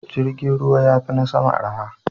Jirgin ruwa ya fi na sama arha.